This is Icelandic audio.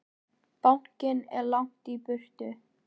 Bankinn er langt í burtu.